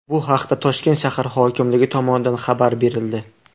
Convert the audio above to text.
Bu haqda Toshkent shahar hokimligi tomonidan xabar berildi .